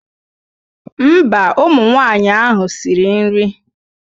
Mba, ụmụnwaanyị ahụ siri nri.